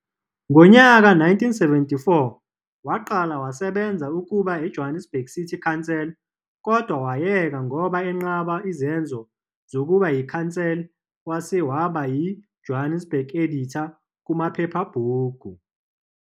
Ngonyaka 1974 waqala wasebenza ukuba eJohannesburg City Council kodwa wayeka ngoba enqaba izenzo zokuba iCouncil wase waba yi Johannesburg editor kumaphephabhuku.